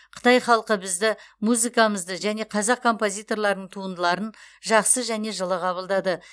қытай халқы бізді музыкамызды және қазақ композиторларының туындыларын жақсы және жылы қабылдады